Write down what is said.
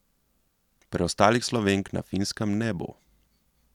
Preostalih Slovenk na Finskem ne bo.